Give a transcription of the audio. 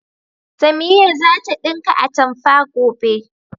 Samiya za ta ɗinka atamfa, gobe.